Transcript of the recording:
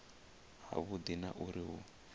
ha vhudi na uri hu